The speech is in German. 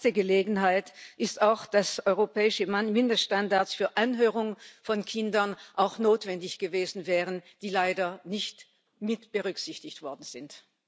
Eine verpasste Gelegenheit ist auch, dass europäische Mindeststandards für Anhörungen von Kindern auch notwendig gewesen wären, die leider nicht mitberücksichtigt worden sind.